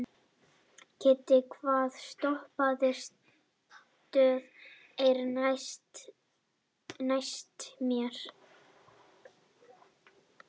Kiddi, hvaða stoppistöð er næst mér?